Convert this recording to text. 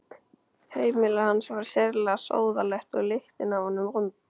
Heimili hans var sérlega sóðalegt og lyktin af honum vond.